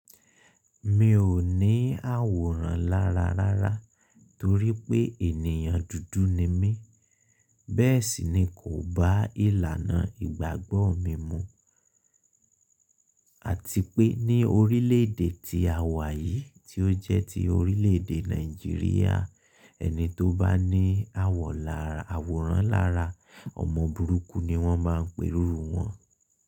Mi ò ní àwòrán lára rárá torí pé ènìyàn dúdú ni mí. Bẹ́ẹ̀ sì ni kò bá ìlànà ìgbàgbọ́ mi mu. Àti pé ní orílẹ̀ èdè tí a wà yìí tí ó jẹ́ ti orílẹ̀ èdè Nàìjíríà, ẹni tó bá ní awo, àwòrán lára, ọmọ burúkú ni wọ́n máa ń pè iru wọ́n.